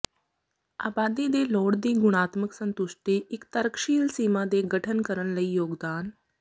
ਆਬਾਦੀ ਦੇ ਲੋੜ ਦੀ ਗੁਣਾਤਮਕ ਸੰਤੁਸ਼ਟੀ ਇੱਕ ਤਰਕਸ਼ੀਲ ਸੀਮਾ ਦੇ ਗਠਨ ਕਰਨ ਲਈ ਯੋਗਦਾਨ